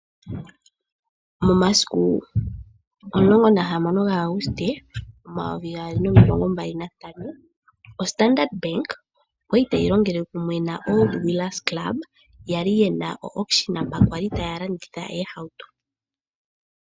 Momasiku 16 Auguste 2025, Standard Bank oya li tayi longele kumwe naOld wheelers clubs ya li ye na mpoka taya landitha oohauto.